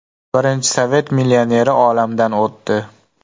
Birinchi sovet millioneri olamdan o‘tdi.